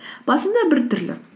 басында біртүрлі